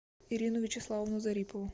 ирину вячеславовну зарипову